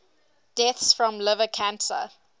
deaths from liver cancer